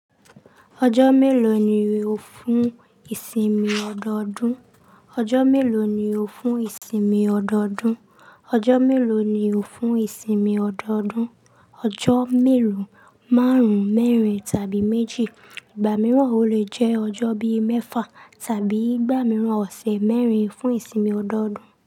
Ọjọ́ mélòó ni o fún ìsinmi ọdọọdún? Ọjọ́ mélòó ni o fún ìsinmi ọdọọdún? Ọjọ́ mélòó ni o fún ìsinmi ọdọọdún? Ọjọ́ mélòó, márùn-ún, mẹ́rin tàbí méjì. Igba mìíràn o le jẹ́ ọjọ́ bí i mẹ́fà tàbí ìgbà mìíràn ọ̀sẹ̀ mẹ́rin fún ìsinmi ọdọọdún.